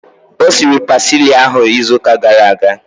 O siri pasili ahu izu ụka gara aga